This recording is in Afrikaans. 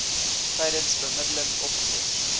tydens bemiddeling opgelos